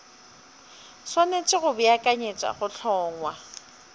swanetše go beakanyetša go hlongwa